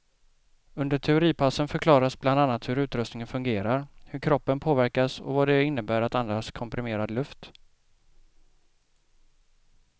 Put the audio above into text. Under teoripassen förklaras bland annat hur utrustningen fungerar, hur kroppen påverkas och vad det innebär att andas komprimerad luft.